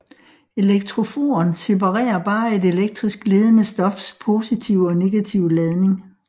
Elektroforen separerer bare et elektrisk ledende stofs positive og negative ladning